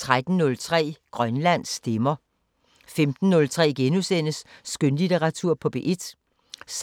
13:03: Grønland stemmer 15:03: Skønlitteratur på P1 *